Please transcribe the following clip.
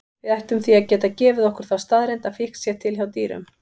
Við ættum því að geta gefið okkur þá staðreynd að fíkn sé til hjá dýrum.